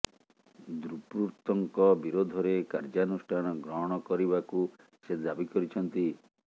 ଦୁର୍ବୃତ୍ତଙ୍କ ବିରୋଧରେ କାର୍ଯ୍ୟାନୁଷ୍ଠାନ ଗ୍ରହଣ କରିବାକୁ ସେ ଦାବି କରିଛନ୍ତି